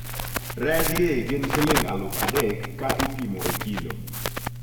rej gi gin siling aluf adek ka ipimo e kilo